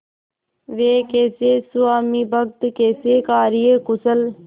वे कैसे स्वामिभक्त कैसे कार्यकुशल